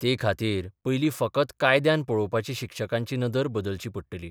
ते खातीर पयलीं फकत कायद्यान पळोवपाची शिक्षकांची नदर बदलची पडटली.